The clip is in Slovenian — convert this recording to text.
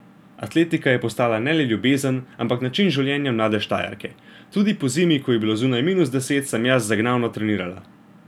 Atletika je postajala ne le ljubezen, ampak način življenja mlade Štajerke: 'Tudi pozimi, ko je bilo zunaj minus deset, sem jaz zagnano trenirala!